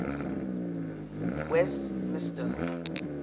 westmister